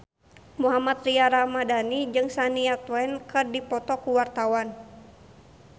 Mohammad Tria Ramadhani jeung Shania Twain keur dipoto ku wartawan